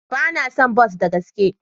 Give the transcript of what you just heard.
Ba na son bas da gaske.